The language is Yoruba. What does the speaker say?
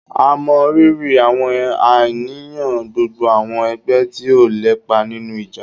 À mọ riri àwọn àníyàn gbogbo àwọn ẹgbẹ tí ó lépa nínú ìjà.